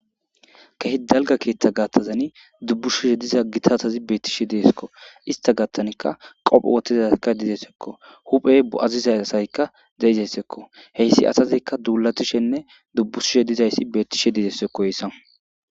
Kehi dalgga keththa gathazani dubbushishe diza giita asati bettishe de'eskko.istta gathanikka qope wothidayti dizayssako.huphe bo'atidaykka de'izayssako.hayssi asazikka dulatishinne dubbushishe dizayssi betishe de'esekko hayssan.